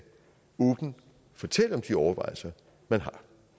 fortælle om de overvejelser man har